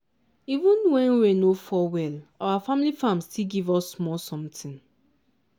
even when rain no fall well our family farm still give us small something.